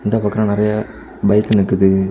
இந்த பக்கம் நறைய பைக் நிக்குது.